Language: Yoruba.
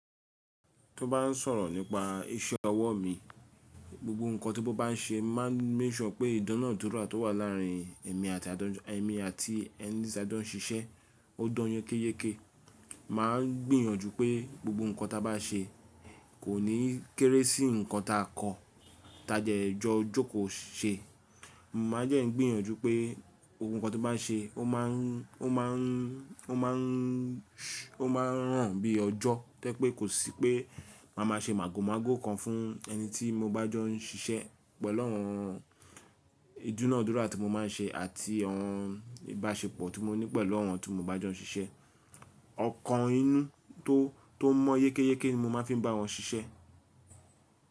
Tó bá n sọ̀rọ̀ nípa iṣẹ́ ọwọ́ mi, gbogbo ǹkan tí mo bá n ṣe máa ń mek sure pé ìdáná dúrà tó wà láàrin èmi àti ẹni tí a dán ṣiṣẹ́ ó dán yàn kéékèè. Máa ń gbìyànjú pé gbogbo ǹkan ta bá ṣe kò ní kéré sí ǹkan ta kọ́, ta dẹ̀ jọ jókòó ṣe. Mo máa jẹ̀ ń gbìyànjú pé gbogbokan tí mo bá ṣe, ó má ń ràn bí ọjọ́. Tẹ́ pé kò sí pé màá ṣe màgòmágó kan fún ẹni tí mo bá jọ ń ṣiṣẹ́ pẹ̀lú àwọn ìdúnàádúrà tí mo máa ń ṣe àti àwọn ìbáṣepọ̀ tí mo ní pẹ̀lú àwọn tí mo bá jọ ń ṣiṣẹ́. Ọkàn inú tó mọ́ yékéyéké ni mo máa fi ń bá wọn ṣiṣẹ́.